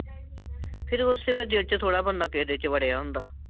ਫਿਰ ਉਸ ਵੇਲ਼ੇ ਦਿਲ ਚ ਥੋੜਾ ਬਣਦਾ ਕਿਸੇ ਦੇ ਚ ਵੜਿਆ ਹੁੰਦਾ